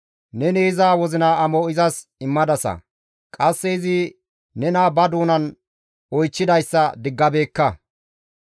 Neni iza wozina amo izas immadasa; qasse izi nena ba doonan oychchidayssa neni diggabeekka.